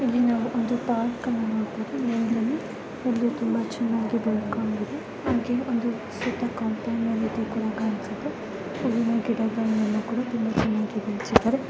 ಇಲ್ಲಿ ನಾವು ಒಂದು ಪಾರ್ಕ್ಅನ್ನ ನೋಡಬಹುದು ಇಲ್ಲಿ ಹಾಗೆ ಹುಲ್ಲು ತುಂಬ ಚೆನ್ನಾಗಿ ಬೆಳೆದುಕೊಂಡಿದೆ ಹಾಗೆ ಒಂದು ದೊಡ್ಡ ಕಾಂಪೌಂಡ್ನ ರೀತಿಯಲ್ಲಿ ಕೂಡ ಕಾಣಿಸುತ್ತದೆ ಇಲ್ಲಿ ಮರ ಗಿಡಗಳು ತುಂಬ ಚೆನ್ನಾಗಿದೆ. ಬೆಳೆಸಿದ್ದಾರೆ.